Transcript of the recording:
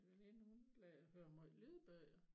Min veninde hun hører måj lydbøger